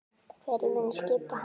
Hverjir munu skipa hana?